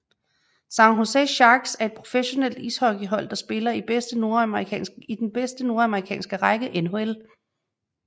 San Jose Sharks er et professionelt ishockeyhold der spiller i den bedste nordamerikanske række NHL